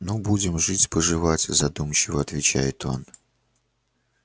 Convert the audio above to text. ну будем жить поживать задумчиво отвечает он